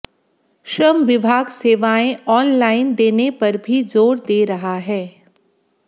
श्रम विभाग सेवाएं ऑनलाइन देने पर भी जोर दे रहा है